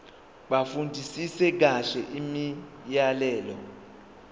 bafundisise kahle imiyalelo